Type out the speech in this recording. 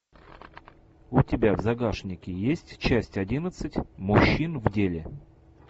у тебя в загашнике есть часть одиннадцать мужчин в деле